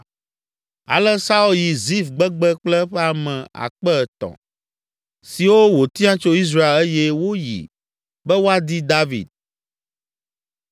Ale Saul yi Zif gbegbe kple eƒe ame akpe etɔ̃ (3,000) siwo wòtia tso Israel eye woyi be woadi David.